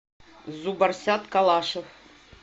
зубарсят калашев